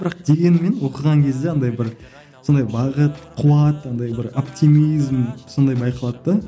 бірақ дегенмен оқыған кезде андай бір сондай бағыт қуат андай бір оптимизм сондай байқалады да